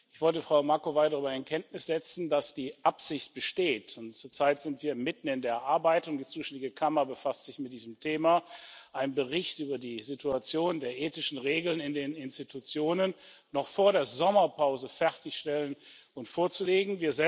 Ich wollte Frau Macovei darüber in Kenntnis setzen, dass die Absicht besteht und zurzeit sind wir mitten in der Arbeit, und die zuständige Kammer befasst sich mit diesem Thema einen Bericht über die Situation der ethischen Regeln in den Organen und Einrichtungen noch vor der Sommerpause fertigzustellen und vorzulegen.